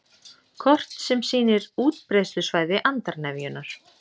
Kort sem sýnir útbreiðslusvæði andarnefjunnar